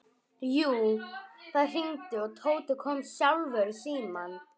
Jú, það hringdi og Tóti kom sjálfur í símann.